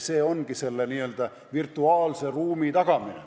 See ongi n-ö virtuaalse ruumi tagamine.